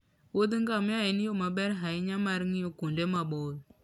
Wuodh ngamia en yo maber ahinya mar ng'iyo kuonde maboyo.